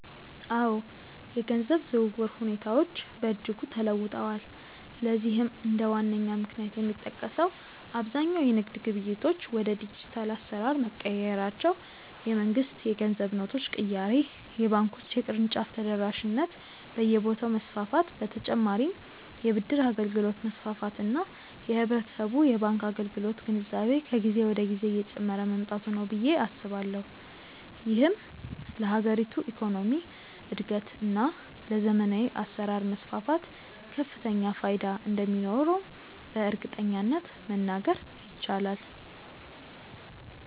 አዎ፣ የገንዘብ ዝውውር ሁኔታዎች በእጅጉ ተለውጠዋል። ለዚህም እንደ ዋነኛ ምክንያት የሚጠቀሰው አብዛኛው የንግድ ግብይቶች ወደ ዲጂታል አሰራር መቀየራቸው፣ የመንግስት የገንዘብ ኖቶች ቅያሬ፣ የባንኮች የቅርንጫፍ ተደራሽነት በየቦታው መስፋፋት በ ተጨማርም የ ብድር አገልግሎት መስፋፋት እና የህብረተሰቡ የባንክ አገልግሎት ግንዛቤ ከጊዜ ወደ ጊዜ እየጨመረ መምጣቱ ነው ብዬ አስባለሁ። ይህም ለሀገሪቱ የኢኮኖሚ እድገት እና ለዘመናዊ አሰራር መስፋፋት ከፍተኛ ፋይዳ እንደሚኖረውም በእርግጠኝነት መናገር ይቻላል።